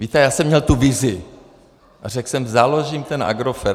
Víte, já jsem měl tu vizi a řekl jsem: Založím ten Agrofert.